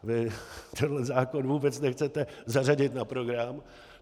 Vy tenhle zákon vůbec nechcete zařadit na program.